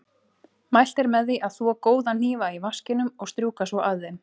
Mælt er með því að þvo góða hnífa í vaskinum og strjúka svo af þeim.